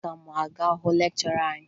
Aga m aga hụ lekchọra anyị